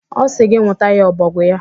Ọ sị gị nwụtara ya ọbọgwụ ya.